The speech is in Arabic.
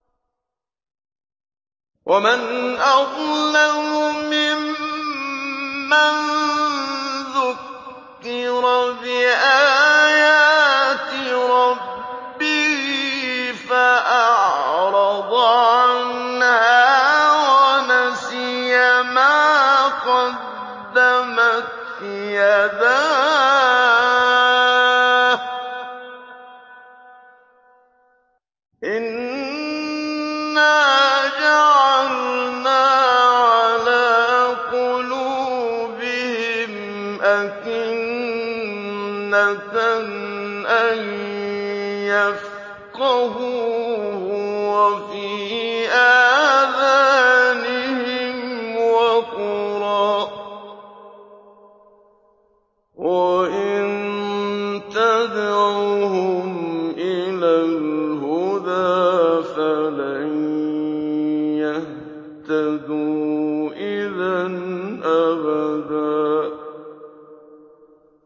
وَمَنْ أَظْلَمُ مِمَّن ذُكِّرَ بِآيَاتِ رَبِّهِ فَأَعْرَضَ عَنْهَا وَنَسِيَ مَا قَدَّمَتْ يَدَاهُ ۚ إِنَّا جَعَلْنَا عَلَىٰ قُلُوبِهِمْ أَكِنَّةً أَن يَفْقَهُوهُ وَفِي آذَانِهِمْ وَقْرًا ۖ وَإِن تَدْعُهُمْ إِلَى الْهُدَىٰ فَلَن يَهْتَدُوا إِذًا أَبَدًا